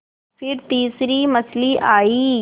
फिर तीसरी मछली आई